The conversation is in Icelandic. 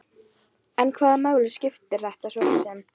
En hvaða máli skipti þetta svo sem?